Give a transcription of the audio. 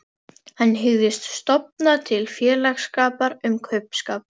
Hann hygðist stofna til félagsskapar um kaupskap.